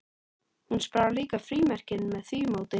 Hún sparar líka frímerkin með því móti.